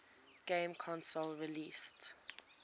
game console released